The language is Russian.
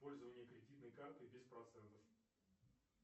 пользование кредитной картой без процентов